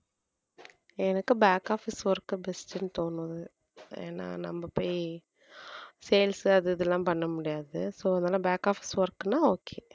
எனக்கு back office வரைக்கும் best ன்னு தோணுது ஏன்னா நம்ம போய் sales அது இதெல்லாம் பண்ண முடியாது so அதனாலே back office ன்னா okay